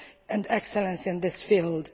and excellence in this field.